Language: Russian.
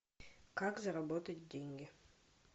как заработать деньги